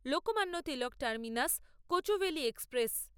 Lokmanya Tilak terminus Kochuveli express